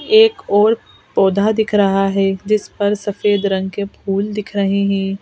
एक और पौधा दिख रहा है जिस पर सफेद रंग के फूल दिख रहे हैं.